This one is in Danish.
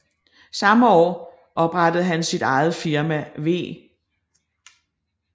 Samme år oprettede han sit eget firma V